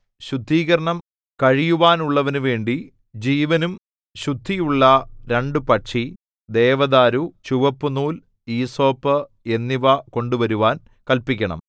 ശുദ്ധീകരണം കഴിയുവാനുള്ളവനുവേണ്ടി ജീവനും ശുദ്ധിയുള്ള രണ്ടു പക്ഷി ദേവദാരു ചുവപ്പുനൂൽ ഈസോപ്പ് എന്നിവ കൊണ്ടുവരുവാൻ കല്പിക്കണം